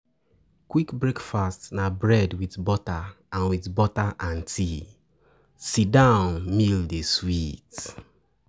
Quick breakfast na bread with butter and with butter and tea, but sit-down meal dey sweet